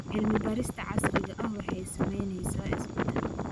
Cilmi-baarista casriga ahi waxay samaynaysaa isbeddel.